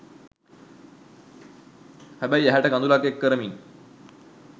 හැබැයි ඇහැට කඳුළක් එක් කරමින්